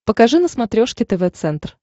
покажи на смотрешке тв центр